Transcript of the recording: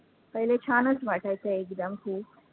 पहिले छानचं वाटायचं एकदम की